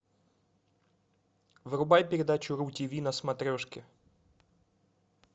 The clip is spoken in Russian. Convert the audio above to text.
врубай передачу ру тиви на смотрешке